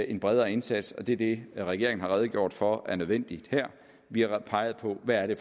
en bredere indsats og det er det regeringen har redegjort for er nødvendigt her vi har peget på hvad det